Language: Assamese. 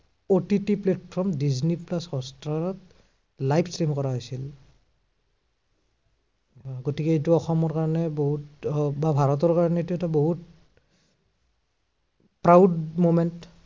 OTT platform ডিজনি প্লাছ হটষ্টাৰত live frame কৰা হৈছিল। গতিকে এইটো অসমৰ কাৰণে বহুত আহ বা ভাৰতৰ কাৰণে এইটো এটা বহুত proud moment